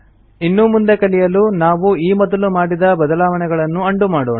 ಇನ್ನೂ ಮುಂದೆ ಕಲಿಯಲು ನಾವು ಈ ಮೊದಲು ಮಾಡಿದ ಬದಲಾವಣೆಗಳನ್ನು ಉಂಡೋ ಮಾಡೋಣ